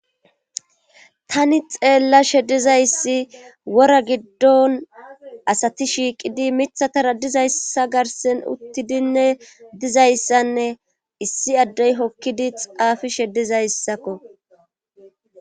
Tani xeellashe dizayssi wora giddon asati shiiqidi mithatara dizayssa garsen uttidinne dizayssanne issi addey hokkidi xaafishe dizayssakko.